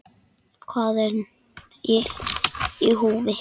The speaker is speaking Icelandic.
Hvað er í húfi?